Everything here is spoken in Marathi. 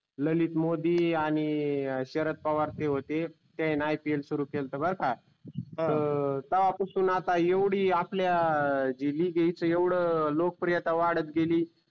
ललित मोदी आणि शरद पवार ते होते त्यांनी IPL सुरू केलत बर का तर तेव्हा पासून आता येवडी विजेच लोक प्रियता वाडत गेली.